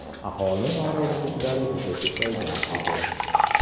Aholi noroziliklari juda ko‘paygan edi.